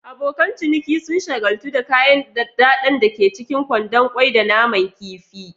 Abokan ciniki sun shagaltu da kayan daɗaɗɗen da ke cikin kwandon kwai da naman kifi.